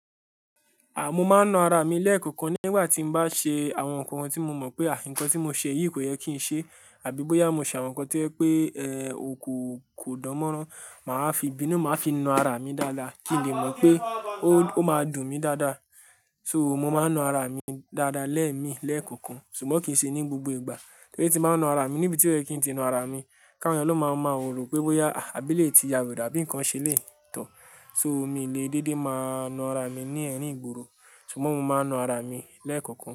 Mo máa ń na ara mi lẹ́ẹ̀kọ̀kan nígbà tí mo bá ṣe àwọn nǹkan tí mo mọ̀ pé nkán tí mo ṣe yìí kò yẹ kí n ṣe, àbí bóyá mo ṣe àwọn nǹkan tí ó yẹ pé, ò kò kò dánmọ́rán, màá fi ìbínú màá fi na ara mi dáadáa kí n lè mọ̀ pé ó máa dùn mí dáadáa. So mo máa ń na ara mi dáadáa lẹ́ẹ̀mi lẹ́ẹ̀kọ̀kan, ṣùgbọ́n kì í ṣe ní gbogbo ìgbà. Torí tí màá ń na ara mi níbi tí ó yẹ kí n ti na ara mi, ká won èyàn ló má máa rò pé bóyá, àbí elè ti yà werey àbí nǹkan ṣe elè tọ́. So mi lè dédé máa na ara mi ní ẹ̀rín ìgboro, ṣùgbọ́n mo máa ń na ara mi lẹ́ẹ̀kọ̀kan.